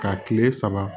Ka kile saba